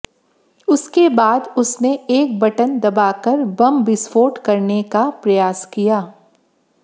उसके बाद उसने एक बटन दबाकर बम विस्फोट करने का प्रयास किया